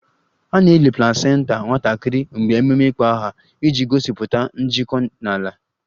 A na-eli placenta nwatakịrị mgbe ememe ịkpọ aha iji gosipụta njikọ na ala